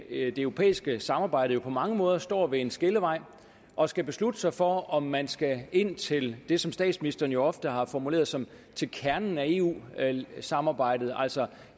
europæiske samarbejde jo på mange måder står ved en skillevej og skal beslutte sig for om man skal ind til det som statsministeren jo ofte har formuleret som kernen af eu samarbejdet altså